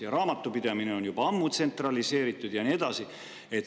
Ja raamatupidamine on juba ammu tsentraliseeritud ja nii edasi.